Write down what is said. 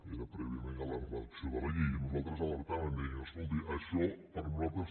era prèviament a la redacció de la llei i nosaltres alertàvem i dèiem escolti això per nosaltres